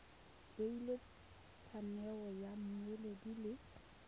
bile tshaneo ya mmoledi e